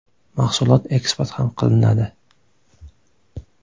Mahsulot eksport ham qilinadi.